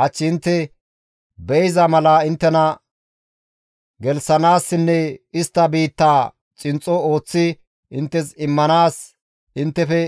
Hach intte be7iza mala inttena gelththanaassinne istta biittaa xinxxo ooththi inttes immanaas inttefe